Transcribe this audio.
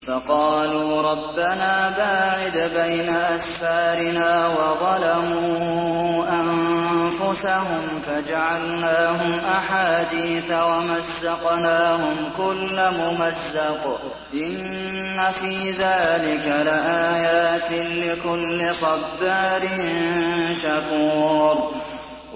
فَقَالُوا رَبَّنَا بَاعِدْ بَيْنَ أَسْفَارِنَا وَظَلَمُوا أَنفُسَهُمْ فَجَعَلْنَاهُمْ أَحَادِيثَ وَمَزَّقْنَاهُمْ كُلَّ مُمَزَّقٍ ۚ إِنَّ فِي ذَٰلِكَ لَآيَاتٍ لِّكُلِّ صَبَّارٍ شَكُورٍ